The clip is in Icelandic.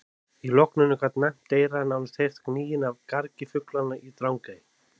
Í logninu gat næmt eyra nánast heyrt gnýinn af gargi fuglanna í Drangey.